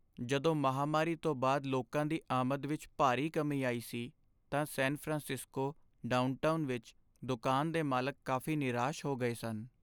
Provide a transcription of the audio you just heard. ਜਦੋਂ ਮਹਾਂਮਾਰੀ ਤੋਂ ਬਾਅਦ ਲੋਕਾਂ ਦੀ ਆਮਦ ਵਿੱਚ ਭਾਰੀ ਕਮੀ ਆਈ ਸੀ ਤਾਂ ਸੈਨ ਫਰਾਂਸਿਸਕੋ ਡਾਊਨਟਾਊਨ ਵਿੱਚ ਦੁਕਾਨ ਦੇ ਮਾਲਕ ਕਾਫ਼ੀ ਨਿਰਾਸ਼ ਹੋ ਗਏ ਸਨ।